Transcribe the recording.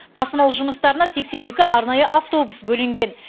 тасымал жұмыстарына сексен екі арнайы автобус бөлінген